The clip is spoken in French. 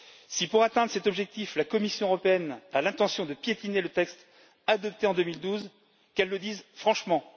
Si, pour atteindre cet objectif, la Commission européenne a l'intention de piétiner le texte adopté en 2012, qu'elle le dise franchement!